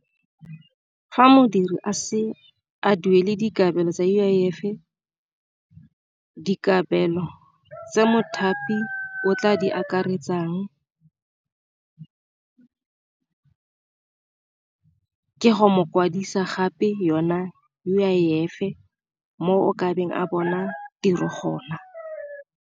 Fa modiri a se a duele dikabelo tsa U_I_F, dikabelo tse mothapi o tla di akaretsang ka go mo kwadisa gape yona U_I_F e mo kabeng a bona tiro gona.